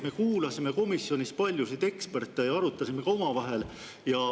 Me kuulasime komisjonis paljusid eksperte ja arutasime seda ka omavahel.